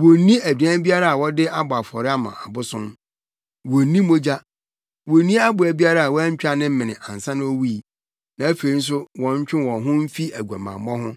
wonnni aduan biara a wɔde abɔ afɔre ama abosom; wonnni mogya; wonnni aboa biara a wɔantwa ne mene ansa na owui; na afei nso wɔntwe wɔn ho mfi aguamammɔ ho.”